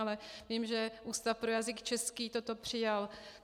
Ale vím, že Ústav pro jazyk český toto přijal.